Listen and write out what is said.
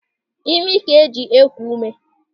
Ịmị ka e ji eku ume.